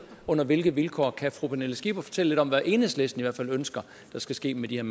under hvilke vilkår kan fru pernille skipper fortælle lidt om hvad enhedslisten ønsker at der skal ske med de her